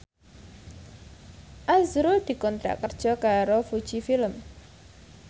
azrul dikontrak kerja karo Fuji Film